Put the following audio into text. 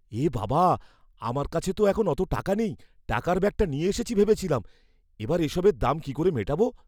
এ বাবা! আমার কাছে তো এখন অত টাকা নেই, টাকার ব্যাগটা নিয়ে এসেছি ভেবেছিলাম। এবার এসবের দাম কি করে মেটাবো?